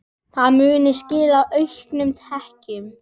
Það muni skila auknum tekjum.